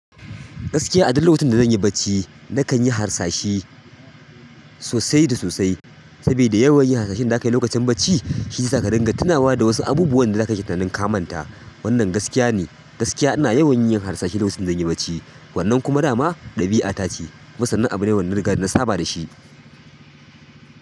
Gaskiya a duk lokacin da zan yi bacci nakan yi harsashi sosai da sosai sabida yawan yin harsashen daza kayi lokacin bacci shi zai saka ka dinga tunawa da wasu abubuwan da zakake tunanin ka manta. Wannan gaskiya ne, gaskiya ina yawan yin harsashi lokacin da zan yi bacci. Wannan kuma dama ɗabi'a ce, kuma sannan abu ne wanda riga na saba da shi.